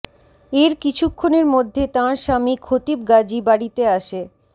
এর কিছুক্ষণের মধ্যে তাঁর স্বামী খতিব গাজী বাড়িতে আসে